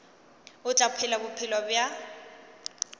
o tla phela bophelo bja